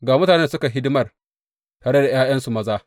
Ga mutanen da suka yi hidimar, tare da ’ya’yansu maza.